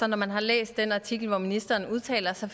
når man har læst den artikel hvor ministeren udtaler sig